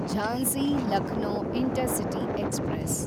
Jhansi– Lucknow intercity express